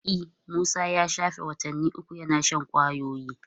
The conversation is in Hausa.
E, Musa ya shafe watanni uku yana shan kwayoyi.